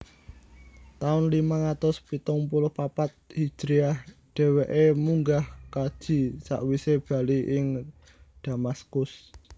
Taun limang atus pitung puluh papat hijriyah dheweke munggah kaji sakwise bali ing Damaskus